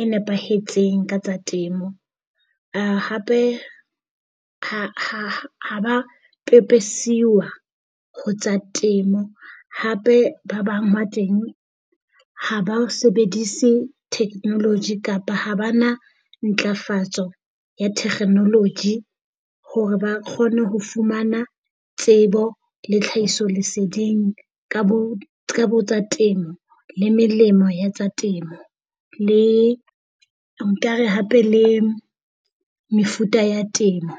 e nepahetseng ka tsa temo. Hape ha ba a pepesiwa ho tsa temo. Hape ba bang ba teng ha ba sebedise technology kapa ha ba na ntlafatso ya technology hore ba kgone ho fumana tsebo le tlhahisoleseding ka bo tsa temo le melemo ya temo le nkare hape le mefuta ya temo.